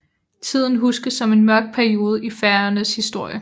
Tiden huskes som en mørk periode i Færøernes historie